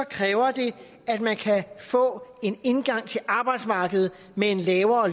kræver det at man kan få en indgang til arbejdsmarkedet med en lavere